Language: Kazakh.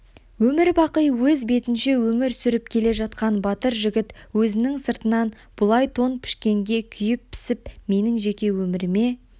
өмірбақи өз бетінше өмір сүріп келе жатқан батыр жігіт өзінің сыртынан бұлай тон пішкенге күйіп-пісіп менің жеке өміріме